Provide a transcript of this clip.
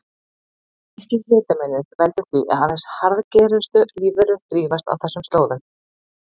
Þessi mikli hitamunur veldur því að aðeins harðgerustu lífverur þrífast á þessum slóðum.